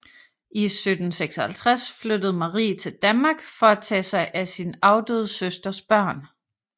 I 1756 flyttede Marie til Danmark for at tage sig af sin afdøde søsters børn